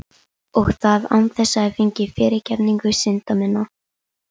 Og það án þess ég fengi fyrirgefningu synda minna.